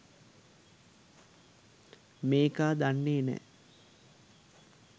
මේකා දන්නේ නැ